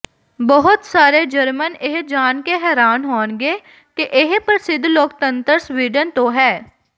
ਬਹੁਤ ਸਾਰੇ ਜਰਮਨ ਇਹ ਜਾਣ ਕੇ ਹੈਰਾਨ ਹੋਣਗੇ ਕਿ ਇਹ ਪ੍ਰਸਿੱਧ ਲੋਕਤੰਤਰ ਸਵੀਡਨ ਤੋਂ ਹੈ